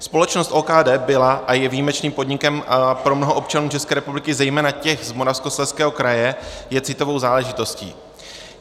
Společnost OKD byla a je výjimečným podnikem pro mnoho občanů České republiky, zejména těch z Moravskoslezského kraje je citovou záležitostí.